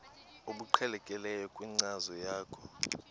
obuqhelekileyo kwinkcazo yakho